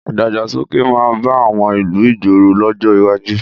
Ìdàgbàsókè máa bá àwọn ìlú ìgboro lọ́jọ́ iwájú.